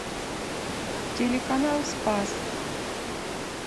телеканал спас